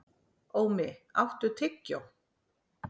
Ómi, áttu tyggjó?